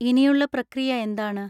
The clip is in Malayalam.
ഇനിയുള്ള പ്രക്രിയ എന്താണ്?